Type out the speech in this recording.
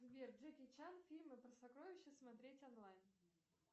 сбер джеки чан фильмы про сокровища смотреть онлайн